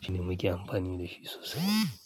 shine muke amfani da shi sosai.